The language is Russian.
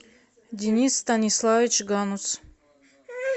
денис станиславович ганус